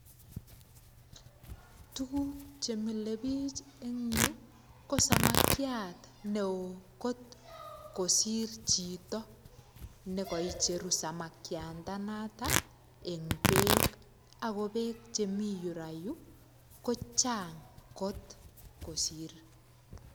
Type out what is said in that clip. Tuguk chemile bich eng yuu, ko samakiat ne oo kot kosir chito nekaicheru samakiandanatak en beek. Ako beek chemii yurayu, kochang kot kosir.